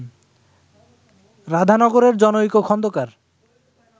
রাধানগরের জনৈক খন্দকার